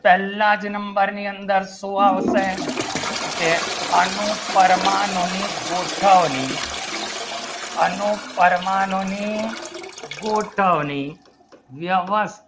Prahlad number ની અંદર શું આવશે ને અનુ પરમાણુની ગોઠવણી અનુ પરમાણુની ગોઠવણી તેવા